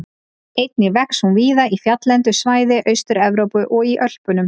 Einnig vex hún víða í fjalllendu svæði Austur-Evrópu og í Ölpunum.